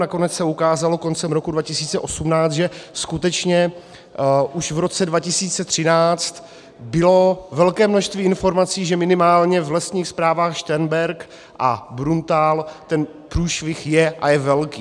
Nakonec se ukázalo koncem roku 2018, že skutečně už v roce 2013 bylo velké množství informací, že minimálně v lesních správách Šternberk a Bruntál ten průšvih je, a je velký.